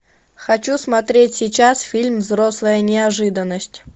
хочу смотреть сейчас фильм взрослая неожиданность